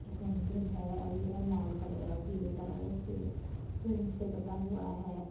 यह मन्दिर है और यह लाल कलर और पीले कलर से पेंट से बंधा हुआ है।